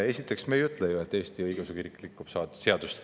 Esiteks, me ei ütle ju, et Eestis Õigeusu Kirik rikub seadust.